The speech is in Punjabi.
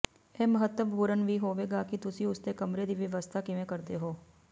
ਇਹ ਮਹੱਤਵਪੂਰਣ ਵੀ ਹੋਵੇਗਾ ਕਿ ਤੁਸੀਂ ਉਸਦੇ ਕਮਰੇ ਦੀ ਵਿਵਸਥਾ ਕਿਵੇਂ ਕਰਦੇ ਹੋ